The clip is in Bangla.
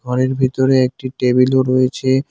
ঘরের ভিতরে একটি টেবিলও রয়েছে।